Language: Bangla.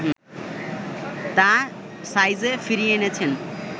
তা সাইজে ফিরিয়ে এনেছেন